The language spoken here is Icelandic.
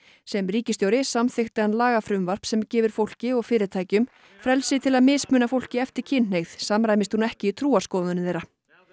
sem ríkisstjóri samþykkti hann lagafrumvarp sem gefur fólki og fyrirtækjum frelsi til að mismuna fólki eftir kynhneigð samræmist hún ekki trúarskoðunum þeirra